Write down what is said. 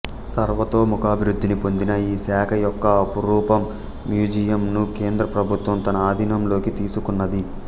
సర్వతోముఖాభివృద్ధిని పొందిన ఈ శాఖ యొక్క ఆపురూప మ్యూజియం ను కేంద్రం ప్రభుత్వం తన ఆధీనంలోకి తీసుకున్నది